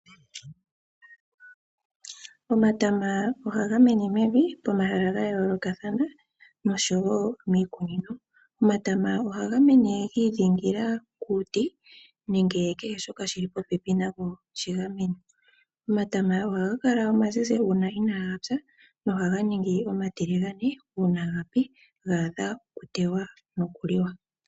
Omatama ohaga mene mevi po mahala ga yoolokathana nosho wo miikunino. Omatama ohaga mene gi idhingila kuuti nenge kehe shoka shili popepi nago shigamene. Omatama ohaga kala omazizi uuna inaga pya no haga ningi omatiligane uuna gapi ga adha oku teywa noku liwa.